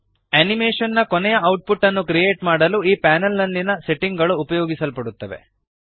animation ನ ಕೊನೆಯ output ಅನ್ನು ಕ್ರಿಯೇಟ್ ಮಾಡಲು ಈ ಪ್ಯಾನಲ್ ನಲ್ಲಿಯ ಸೆಟ್ಟಿಂಗ್ ಗಳು ಉಪಯೋಗಿಸಲ್ಪಡುತ್ತವೆ